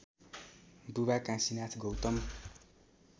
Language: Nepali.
बुबा काशीनाथ गौतम